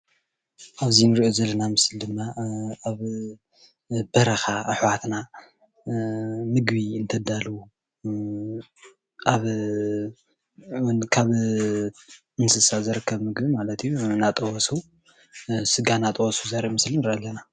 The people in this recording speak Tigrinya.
ኣብዚ ንሪኦ ዘለና ምስሊ ድማ ኣብ በረኻ ኣሕዋትና ምግቢ እንተዳልዉ ካብ እንስሳ ዝርከብ ምግቢ ማለት እዩ ስጋ እናጠበሱ ዘርኢ ምስሊ ንርኢ ኣለና፡፡